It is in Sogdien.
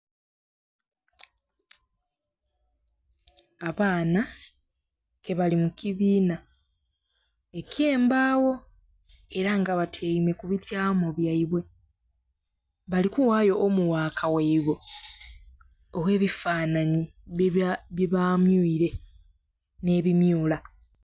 Abaana ke bali mu kibiina eky'embaawo, era nga batyaime ku bityamo byaibwe. Bali kuwayo homuwaka ghaibwe, ogh'ebifanhanhi byebamyuile nh'ebimyula.